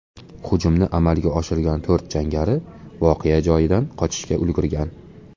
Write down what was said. Hujumni amalga oshirgan to‘rt jangari voqea joyidan qochishga ulgurgan.